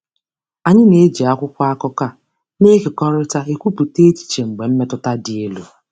Anyị na-eji akwụkwọ akụkọ a na-ekekọrịta ekwupụta echiche mgbe mmetụta dị elu.